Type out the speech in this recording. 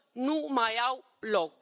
nu mai au loc.